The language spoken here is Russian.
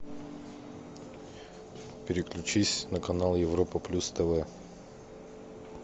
переключись на канал европа плюс тв